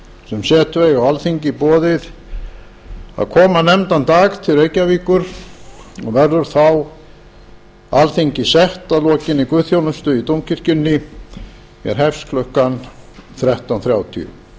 sem setu eiga á alþingi boðið að koma nefndan dag til reykjavíkur og verður þá alþingi sett að lokinni guðsþjónustu í dómkirkjunni sem hefst klukkan þrettán þrjátíu